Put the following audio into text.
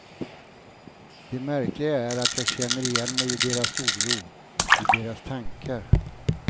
Det märkliga är att jag kände igen mig i deras oro, i deras tankar.